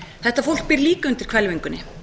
þetta fólk býr líka undir hvelfingunni